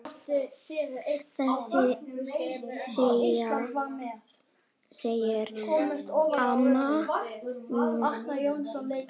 Þetta segir amman í